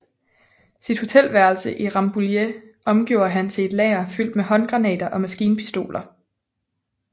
Sit hotelværelse i Rambouillet omgjorde han til et lager fyldt med håndgranater og maskinpistoler